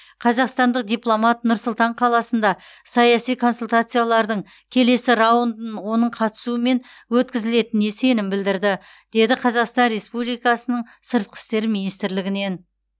қазақстандық дипломат нұр сұлтан қаласында саяси консультациялардың келесі раундын оның қатысуымен өткізілетініне сенім білдірді деді қазақстан республикасы сыртқы істер министрлігінен